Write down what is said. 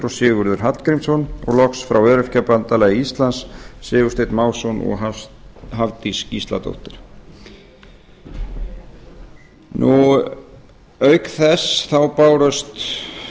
og sigurður hallgrímsson og loks frá öryrkjabandalagi íslands sigursteinn másson og hafdís gísladóttir auk þess bárust